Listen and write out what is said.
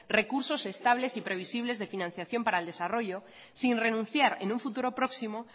recursos estables y previsibles de financiación para el desarrollo sin renunciar en un futuro próximo